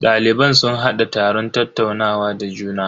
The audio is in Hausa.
Daliban sun hada taron tattaunawa da juna.